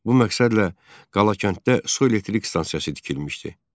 Bu məqsədlə Qalakənddə su elektrik stansiyası tikilmişdi.